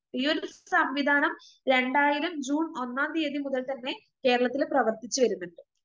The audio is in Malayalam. ഈയൊരു സംവിധാനം രണ്ടായിരം ജൂൺ ഒന്നാം തിയതി മുതൽ തന്നെ കേരളത്തില് പ്രവർത്തിച്ചുവരുന്നിണ്ട്.